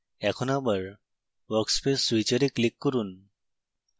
এখন আবার workspace switcher এ click করুন